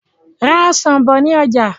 Ra Ọ̀sán bọ̀ ni ọjà!